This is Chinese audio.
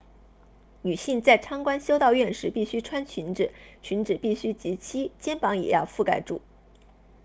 女性在参观修道院时必须穿裙子裙子必须及膝肩膀也要覆盖住